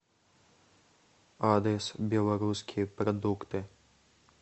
адрес белорусские продукты